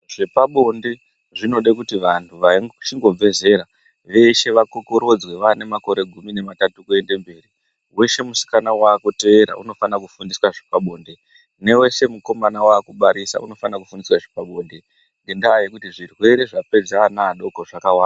Zvepabonde zvinode kuti vandu vachingobve zera veshe vakokoredzwe vane makore gumi nematatu kuende mberi weshe musika wa kuteera unofana kufundiswa zvepabonde ne weshe mukomana akubarisa unofanirwa kufundiswa zvepa bonde nendaa yekuti zvirwere zvapedza ana adoko zvakawanda.